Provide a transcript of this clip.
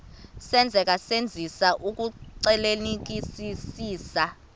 senzeka senzisisa ukuxclelanisekisisa